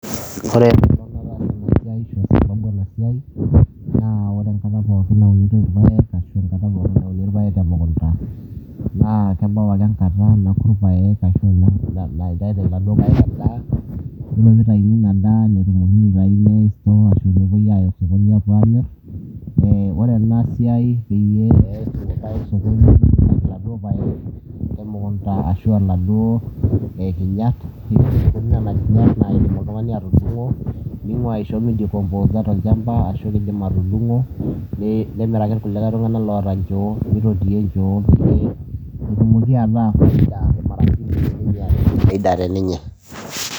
ore adamu ena siai naa ore enkata pooki naasi ena siai, napiki ilpayek emukunda naa kebau ake enkata naku ilpayek, nitayuni ina daa iyiolo pee itayuni ina daa nepoi aamir, ore ena siai, ore inaduo kinyat naa idim oltungani atudung'o, ninguaa midikoposa tolchamba ashu isho ilkulikae tunganak mikompoa.